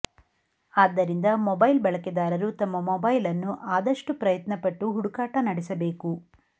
ಆದ್ದರಿಂದ ಮೊಬೈಲ್ ಬಳಕೆದಾರರು ತಮ್ಮ ಮೊಬೈಲ್ ಅನ್ನು ಆದಷ್ಟು ಪ್ರಯತ್ನ ಪಟ್ಟು ಹುಡುಕಾಟ ನೆಡೆಸಬೇಕು